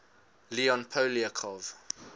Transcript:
leon poliakov